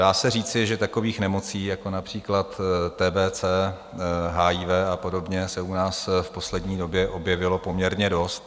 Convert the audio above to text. Dá se říci, že takových nemocí, jako například TBC, HIV a podobně, se u nás v poslední době objevilo poměrně dost.